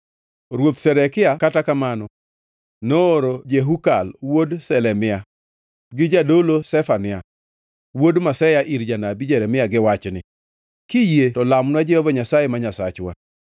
Ruoth Zedekia, kata kamano, nooro Jehukal wuod Shelemia gi jadolo Zefania wuod Maseya ir janabi Jeremia gi wachni: “Kiyie to lamnwa Jehova Nyasaye ma Nyasachwa.”